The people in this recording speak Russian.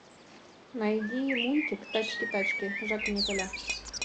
найди мультик тачки тачки жак и николя